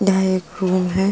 यह एक रूम है।